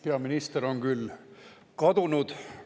Peaminister on kadunud.